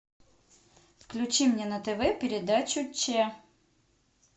включи мне на тв передачу че